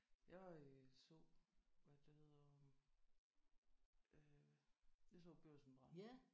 Jeg var i zoo hvad er det det hedder øh jeg så Børsen brænde